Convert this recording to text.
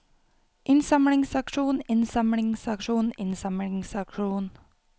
innsamlingsaksjon innsamlingsaksjon innsamlingsaksjon